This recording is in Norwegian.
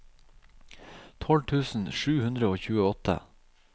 tolv tusen sju hundre og tjueåtte